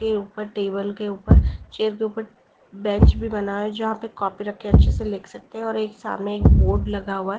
के ऊपर टेबल के ऊपर चेयर के ऊपर बेंच भी बना हुआ है जहां पे कॉपी रख के अच्छे से लिख सकते हैं और एक सामने एक बोर्ड लगा हुआ है।